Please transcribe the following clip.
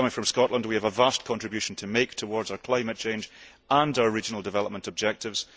Coming from Scotland, we have a vast contribution to make towards our climate change and our regional development objectives.